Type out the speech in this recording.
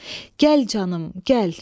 Gəl canım, gəl.